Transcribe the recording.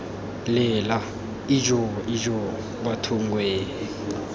lela ijoo ijoo bathong wee